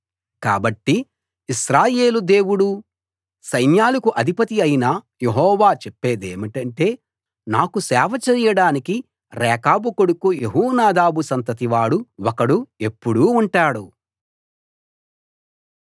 కాబట్టి ఇశ్రాయేలు దేవుడూ సైన్యాలకు అధిపతి అయిన యెహోవా చెప్పేదేమంటే నాకు సేవ చెయ్యడానికి రేకాబు కొడుకు యెహోనాదాబు సంతతివాడు ఒకడు ఎప్పుడూ ఉంటాడు